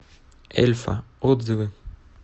эльфа отзывы